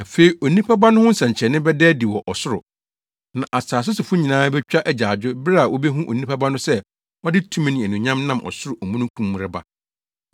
“Afei Onipa Ba no ho nsɛnkyerɛnne bɛda adi wɔ ɔsoro. Na asase sofo nyinaa betwa agyaadwo bere a wobehu Onipa Ba no sɛ ɔde tumi ne anuonyam nam ɔsoro omununkum mu reba.